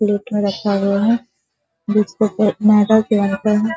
plate में रखा हुआ है |